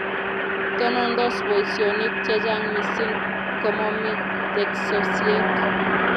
Tonondos boishionik che chang mising komomi teksosiek